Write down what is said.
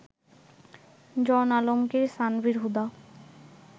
John Alamgir, Sanvir Huda